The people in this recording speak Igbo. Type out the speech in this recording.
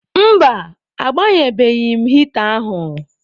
Mba, agbanyebeghị m hịta ahụ.